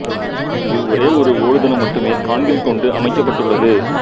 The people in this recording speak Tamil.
இங்கு ஒரே ஒரு ஓடுதளம் மட்டுமே கான்கிரிட் கொண்டு அமைக்கப்பட்டுள்ளது